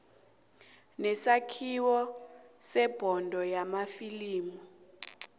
nesakhiwo sebhodo yamafilimu